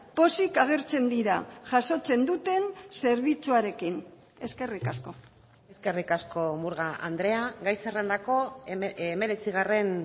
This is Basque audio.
pozik agertzen dira jasotzen duten zerbitzuarekin eskerrik asko eskerrik asko murga andrea gai zerrendako hemeretzigarren